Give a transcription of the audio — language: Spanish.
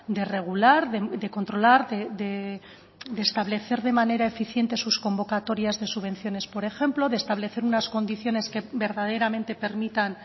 de regular de controlar de establecer de manera eficiente sus convocatorias de subvenciones por ejemplo de establecer unas condiciones que verdaderamente permitan